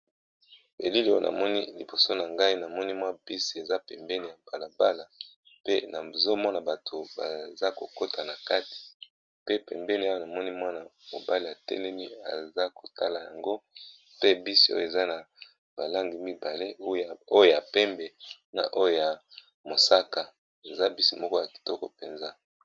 Belili oyo na moni liboso na ngai na moni mwa bisi eza pembeni ya mbalabala pe na zomona bato baza kokota na kati pe pembeni oyo na moni mwana mobale ya telemi eza kotala yango pe bisi oyo eza na balangi mibale oyo ya pembe na oyo ya mosaka eza bisi moko ya kitoko mpenza.